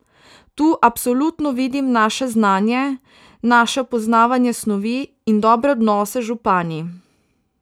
Tu absolutno vidim naše znanje, naše poznavanje snovi in dobre odnose z župani.